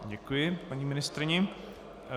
Děkuji paní ministryni.